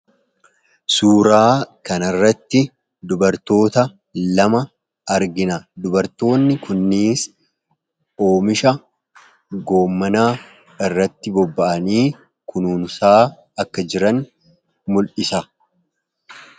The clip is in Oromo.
Suuraa kanarratti dubartoota lama argina. Dubartoonni kunis oomisha raafuu irratti bobba'anii kunuunsaa akka jiran mul'isa.